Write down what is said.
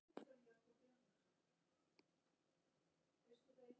Sá sem reykir Pall Mall heldur fugla.